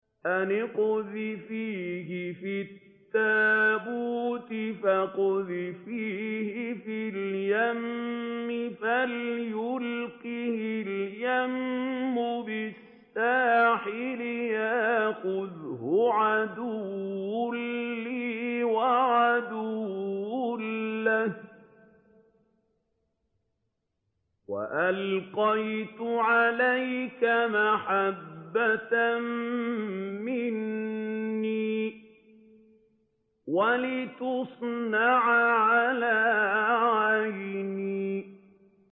أَنِ اقْذِفِيهِ فِي التَّابُوتِ فَاقْذِفِيهِ فِي الْيَمِّ فَلْيُلْقِهِ الْيَمُّ بِالسَّاحِلِ يَأْخُذْهُ عَدُوٌّ لِّي وَعَدُوٌّ لَّهُ ۚ وَأَلْقَيْتُ عَلَيْكَ مَحَبَّةً مِّنِّي وَلِتُصْنَعَ عَلَىٰ عَيْنِي